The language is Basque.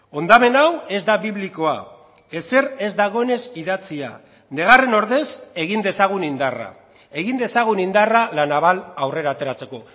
hondamen hau ez da biblikoa ezer ez dagoenez idatzia negarren ordez egin dezagun indarra egin dezagun indarra la naval aurrera ateratzeko